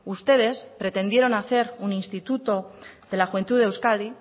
ustedes pretendieron hace un instituto de la juventud de euskadi